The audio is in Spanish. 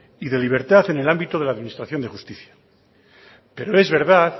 y de libertad en el ámbito de la administración de justicia pero es verdad